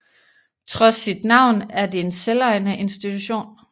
Trods sit navn en det en selvejende institution